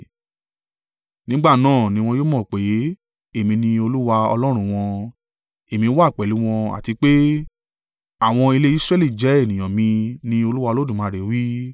Nígbà náà ni wọn yóò mọ̀ pé, èmi ni Olúwa Ọlọ́run wọn, èmi wà pẹ̀lú wọn àti pé, àwọn ilé Israẹli jẹ́ ènìyàn mi, ni Olúwa Olódùmarè wí.